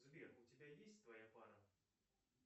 сбер у тебя есть твоя пара